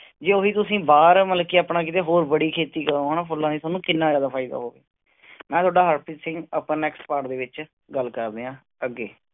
ਜੇ ਉਹੀ ਤੁਸੀਂ ਬਾਹਰ ਮਤਲਬ ਕਿ ਆਪਣਾ ਕਿਤੇ ਹੋਰ ਬੜੀ ਖੇਤੀ ਕਰੋਂ ਹਨਾ ਫੁੱਲਾਂ ਦੀ, ਤੁਹਾਨੂੰ ਕਿੰਨਾ ਜ਼ਿਆਦਾ ਫ਼ਾਇਦਾ ਹੋਵੇ ਮੈਂ ਤੁਹਾਡਾ ਹਰਪ੍ਰੀਤ ਸਿੰਘ ਆਪਾਂ next part ਦੇ ਵਿੱਚ ਗੱਲ ਕਰਦੇ ਹਾਂ ਅੱਗੇ।